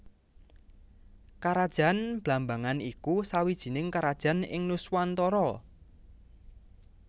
Karajan Blambangan iku sawijining karajan ing Nuswantara